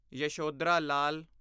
Yashodhara Lal